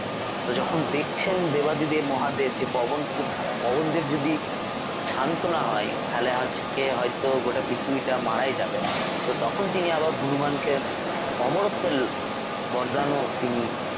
তো যখন দেখছেন দেবাদিদেব মহাদেব যে পবন পবনদেব যদি শান্ত না হয় তাহলে আজকে হয়তো গোটা পৃথিবীটা মারাই যাবে তো তখন তিনি আবার হনুমানকে অমরত্বের বরদানও তিনি